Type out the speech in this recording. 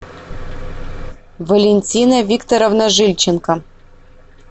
валентина викторовна жильченко